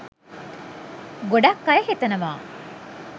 ගොඩක් අය හිතනවා?